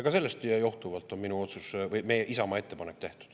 Ja sellest johtuvalt on Isamaa ettepanek tehtud.